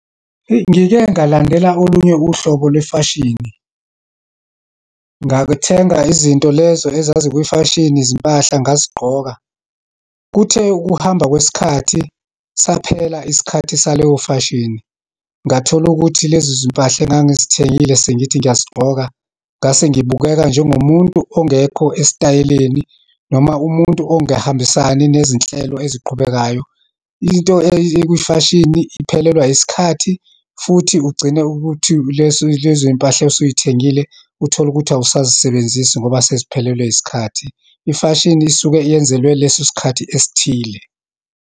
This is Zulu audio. Eyi, ngike ngalandela olunye uhlobo lwefashini. Ngakuthenga izinto lezo ezazikwifashini, izimpahla ngazigqoka. Kuthe ukuhamba kwesikhathi, saphela isikhathi saleyo fashini. Ngathola ukuthi lezizimpahla engangizithengile, sengithi ngiyazigqoka, ngase ngibukeka njengomuntu ongekho esitayeleni, noma umuntu ongehambisani nezinhlelo eziqhubekayo. Into ekwifashini iphelelwa yisikhathi, futhi ugcine ukuthi leso, lezoyimpahla osuyithengile, utholukuthi awusazisebenzisi ngoba seziphelelwe isikhathi. Ifashini isuke yenzelwe leso sikhathi esithile.